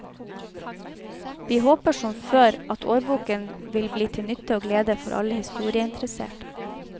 Vi håper, som før, at årboken vil bli til nytte og glede for alle historieinteresserte.